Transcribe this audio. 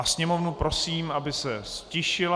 A sněmovnu prosím, aby se ztišila.